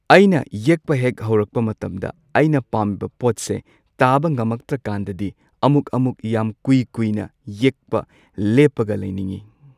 ꯑꯩꯅ ꯌꯦꯛꯄ ꯍꯦꯛ ꯍꯧꯔꯛꯄ ꯃꯇꯝꯗ ꯑꯩꯅ ꯄꯥꯝꯃꯤꯕ ꯄꯣꯠꯁꯦ ꯇꯥꯕ ꯉꯝꯃꯛꯇ꯭ꯔꯀꯥꯟꯗꯗꯤ ꯑꯃꯨꯛ ꯑꯃꯨꯛ ꯌꯥꯝ ꯀꯨꯏ ꯀꯨꯏꯅ ꯌꯦꯛꯄ ꯂꯦꯞꯄꯒ ꯂꯩꯅꯤꯡꯉꯤ꯫